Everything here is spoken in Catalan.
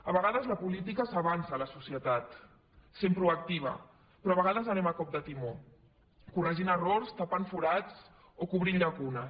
a vegades la política s’avança a la societat sent proactiva però a vegades anem a cop de timó corregint errors tapant forats o cobrint llacunes